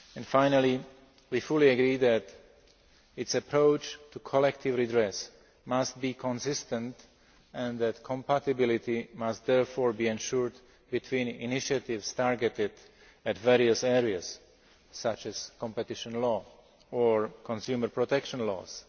Finally, we fully agree that its approach to collective redress must be consistent and that compatibility must, therefore, be ensured between initiatives targeted at various areas, such as competition law or consumer protection laws.